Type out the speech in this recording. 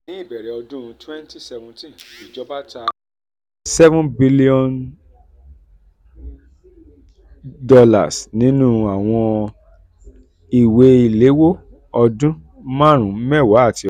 ní ìbẹ̀rẹ̀ ọdún twenty seventeen ìjọba um ta $ seven billion nínú àwọn ìwé ìléwọ́ ọdún um marun mewa àti ọgbọn.